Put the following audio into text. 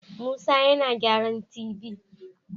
Musa yana gyaran tv